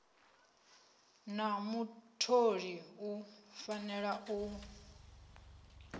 na mutholi u fanela u